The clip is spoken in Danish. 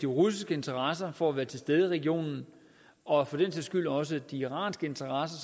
russiske interesser for at være til stede i regionen og for den sags skyld også de iranske interesser